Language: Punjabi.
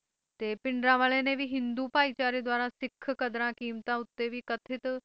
ਤੇ ਭਿੰਡਰਾਂਵਾਲੇ ਨੇ ਵੀ ਹਿੰਦੂ ਭਾਈਚਾਰੇ ਦੁਆਰਾ ਸਿੱਖ ਕਦਰਾਂ ਕੀਮਤਾਂ ਉੱਤੇ ਵੀ ਕਥਿਤ